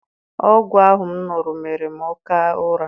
Ọgwụ ahụ m ṅụrụ mere m oké ụra.